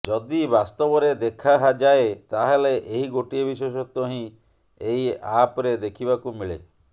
ଯଦି ବାସ୍ତବରେ ଦେଖା ଯାଏ ତାହେଲେ ଏହି ଗୋଟିଏ ବିଶେଷତ୍ବ ହିଁ ଏହି ଆପ୍ରେ ଦେଖିବାକୁ ମିଳେ